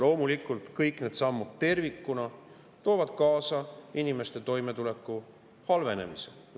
Loomulikult, kõik need sammud tervikuna toovad kaasa inimeste toimetuleku halvenemise.